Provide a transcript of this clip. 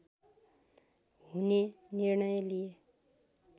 हुने निर्णय लिए